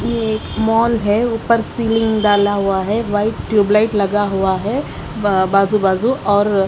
ये एक मॉल है उपर डाला हुआ है वाइट ट्यूबलाइट लगा हुआ है बाजु बाजु और--